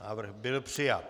Návrh byl přijat.